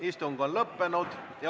Istung on lõppenud.